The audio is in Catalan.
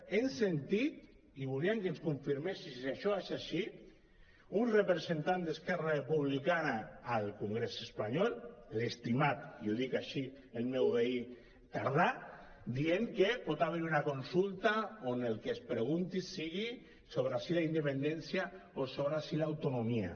hem sentit i volíem que ens confirmés si això és així un representant d’esquerra republicana al congrés espanyol l’estimat i ho dic així i el meu veí tardà dient que pot haver hi una consulta on el que es pregunti sigui sobre si la independència o sobre si l’autonomia